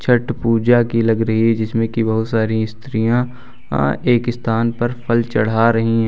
छठ पूजा की लग रही है जिसमें की बहुत सारी स्त्रियां एक स्थान पर फल चढ़ा रही हैं।